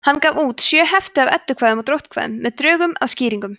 hann gaf út sjö hefti af eddukvæðum og dróttkvæðum með drögum að skýringum